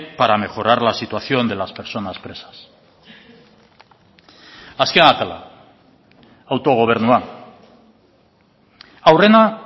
para mejorar la situación de las personas presas azken atala autogobernua aurrena